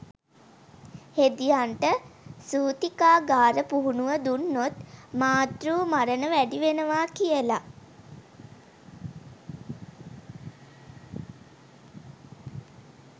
හෙදියන්ට සූතිකාගාර පුහුණුව දුන්නොත් මාතෘ මරණ වැඩි වෙනවා කියලා